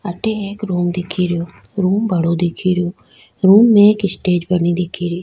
अठे एक रूम दिख रियो रूम बड़ो दिख रो रूम में एक स्टेज बना दिख री।